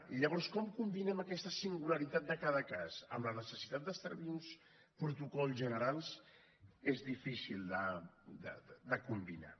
i llavors com combinem aquesta singularitat de cada cas amb la necessitat d’establir uns protocols generals és difícil de combinar